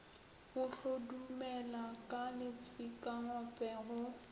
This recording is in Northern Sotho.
o hlodumela ka letsikangope go